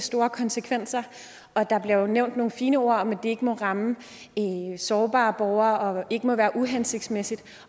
store konsekvenser og der bliver nævnt nogle fine ord om at det ikke må ramme sårbare borgere og ikke må være uhensigtsmæssigt